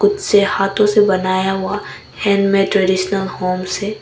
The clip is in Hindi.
इसे हाथों से बनाया गया हैंडमेड ट्रेडीशनल होम्स हैं।